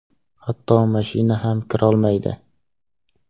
Hatto mashina ham kirolmaydi.